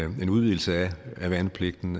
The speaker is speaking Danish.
en udvidelse af værnepligten